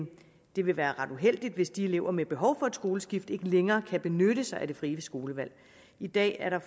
det vil være ret uheldigt hvis de elever med behov for et skoleskift ikke længere kan benytte sig af det frie skolevalg i dag er der